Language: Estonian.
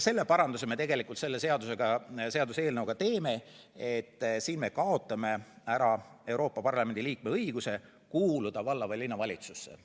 Selle seaduseelnõuga me teeme ka selle paranduse, et me kaotame ära Euroopa Parlamendi liikme õiguse kuuluda valla- või linnavalitsusse.